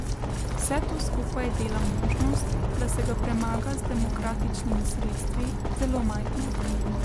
Vse to skupaj dela možnost, da se ga premaga z demokratičnimi sredstvi, zelo majhno.